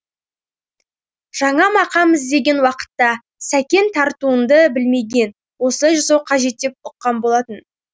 жаңа мақам іздеген уақытта сәкен тартынымды білмеген осылай жасау қажет деп ұққан болатын